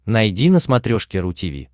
найди на смотрешке ру ти ви